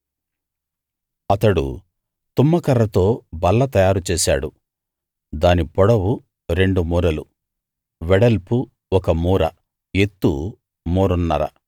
అతడు తుమ్మకర్రతో బల్ల తయారు చేశాడు దాని పొడవు రెండు మూరలు వెడల్పు ఒక మూర ఎత్తు మూరన్నర